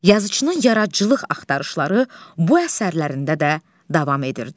Yazıçının yaradıcılıq axtarışları bu əsərlərində də davam edirdi.